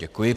Děkuji.